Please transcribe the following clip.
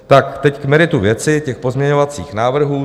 Tak teď k meritu věci těch pozměňovacích návrhů.